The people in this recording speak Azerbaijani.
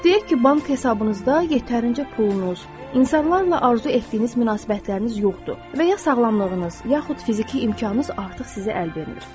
Deyək ki, bank hesabınızda yetərincə pulunuz, insanlarla arzu etdiyiniz münasibətləriniz yoxdur və ya sağlamlığınız, yaxud fiziki imkanınız artıq sizi əl vermir.